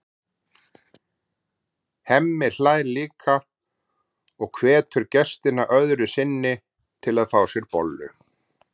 Hemmi hlær líka og hvetur gestina öðru sinni til að fá sér bollu.